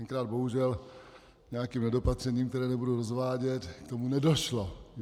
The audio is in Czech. Tenkrát bohužel nějakým nedopatřením, které nebudu rozvádět, k tomu nedošlo.